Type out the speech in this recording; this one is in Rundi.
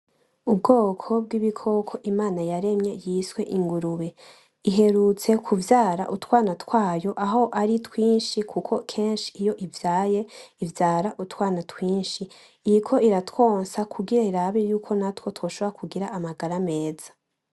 Ubwoko bw'ibikoko imana yaremye yiswe ingurube, iherutse kuvyara utwana twayo aho ari twinshi, kuko kenshi iyo ivyaye ivyara utwana twinshi. Iriko iratwonsa kugira irabe yuko natwo twoshobora kugira amagara meza.